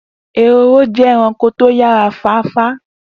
Ehoro jẹ́ ẹranko tó yára fáfá